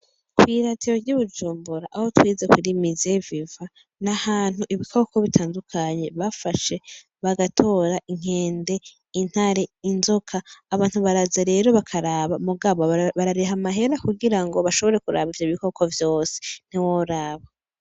Kw'iradiyo ry'ibujumbura aho twitse ku muse vivant n'ahantu ibikoko bitandukanye bafashe bagatora inkende, intare, inzoka abantu baraza rero bakaraba mugabo barariha amahera kugira ngo bashobore kuraba ivyo bikoko vyose ntiworaba.